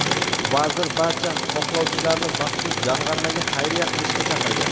Vazir barcha xohlovchilarni maxsus jamg‘armaga xayriya qilishga chaqirgan.